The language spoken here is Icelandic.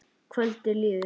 Kvöldið líður.